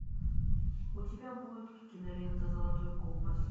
у тебя будет кинолента золотой компас